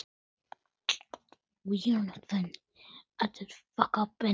Fátt er svo.